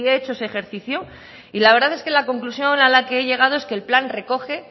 hecho ese ejercicio y la verdad es que la conclusión a la que he llegado es que el plan recoge